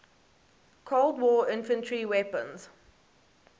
cold war infantry weapons